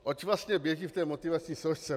Oč vlastně běží v té motivační složce?